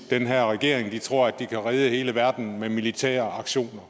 den her regering de tror at de kan redde hele verden med militære aktioner